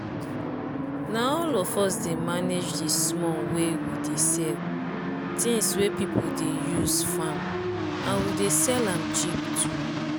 na all of us dey manage di small wey we dey sell things we people dey use farm and we dey sell am cheap too.